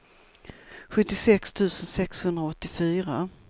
sjuttiosex tusen sexhundraåttiofyra